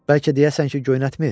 Bəlkə deyəsən ki, göynətmir?